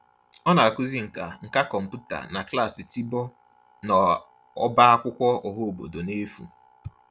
Ọ na-akụzi nkà nkà kọmputa na klaasị tiboh n'ọbá akwụkwọ ọhaobodo n'efu.